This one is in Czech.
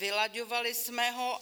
Vylaďovali jsme ho.